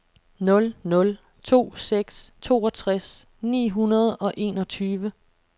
nul nul to seks toogtres ni hundrede og enogtyve